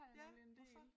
Ja hvorfor?